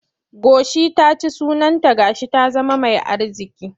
Goshi ta ci sunanta ga shi ta zama mai arziƙi.